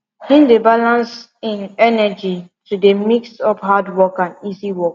him dey balans im energy to de mix up hard work and easy work